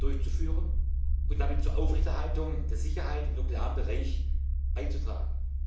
durchzuführen und damit zur Aufrechterhaltung der Sicherheit im nuklearen Bereich beizutragen.